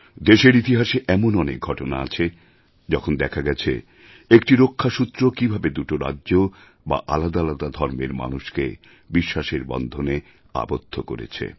দেশের ইতিহাসে এমন অনেক ঘটনা আছে যখন দেখা গেছে একটি রক্ষাসূত্র কীভাবে দুটি রাজ্য বা আলাদা আলাদা ধর্মের মানুষকে বিশ্বাসের বন্ধনে আবদ্ধ করেছে